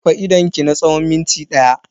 Rufe idonki na tsawon minti daya.